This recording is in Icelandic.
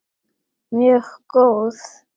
Mjög góð.